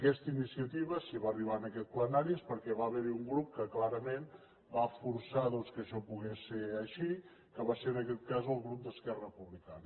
aquesta iniciativa si va arribar en aquest plenari és perquè va haver hi un grup que clarament va forçar que això pogués ser així que va ser en aquest cas el grup d’esquerra republicana